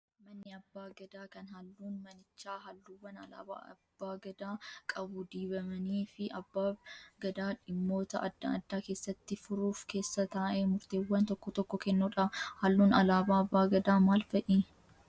Manni abbaa gadaa kan halluun manichaa halluuwwan alaabaa abbaa gadaa qabu dibamanii fi abbaab gadaa dhimmoota adda addaa keessatti furuuf keessa taa'ee murteewwan tokko tokko kennudha. Halluun alaabaa abbaa gadaa maal fa'i?